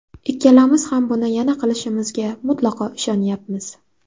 Ikkalamiz ham buni yana qilishimizga mutlaqo ishonyapmiz.